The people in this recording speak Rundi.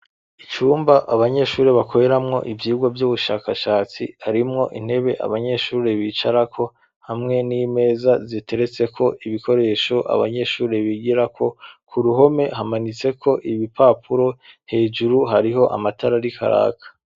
Icumba abanyeshuri bakweramwo ivyirwo vy'ubushakashatsi harimwo intebe abanyeshure bicarako hamwe n'imeza ziteretse ko ibikoresho abanyeshuri bigirako ku ruhome hamanitseko ibipapuro hejuru hariho amatara ari karaka.